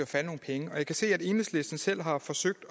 falde nogle penge jeg kan se at enhedslisten selv har forsøgt